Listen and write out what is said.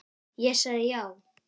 Ég sagði já.